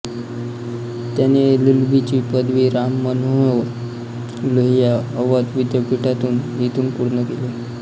त्याने एलएलबीची पदवी राम मनोहर लोहिया अवध विद्यापीठातून इथून पूर्ण केली